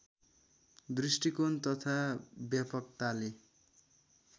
दृष्टिकोण तथा व्यापकताले